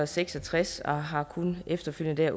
seks og tres og har kun efterfølgende